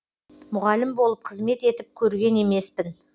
мұғалім болып қызмет етіп көрген емеспін